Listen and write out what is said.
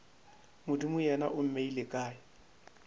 modimo yena o mmeile kae